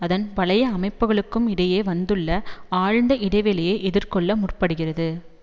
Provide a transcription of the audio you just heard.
அதன் பழைய அமைப்புக்களுக்கும் இடையே வந்துள்ள ஆழ்ந்த இடைவெளியை எதிர்கொள்ள முற்படுகிறது